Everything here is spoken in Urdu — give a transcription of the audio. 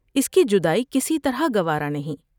اس کی جدائی کسی طرح گوارا نہیں ۔